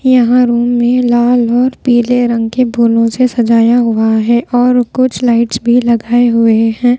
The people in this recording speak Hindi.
यहां रूम में लाल और पीले रंग के फूलों से सजाया हुआ है और कुछ लाइट्स भी लगाए हुए हैं।